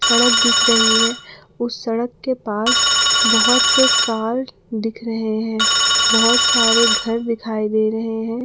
सड़क दिख रही है उसे सड़क के पास बहोत से कार दिख रहे हैं बहोत सारे घर दिखाई दे रहे हैं।